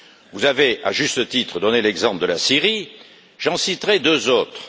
Vous avez à juste titre donné l'exemple de la Syrie, j'en citerai deux autres.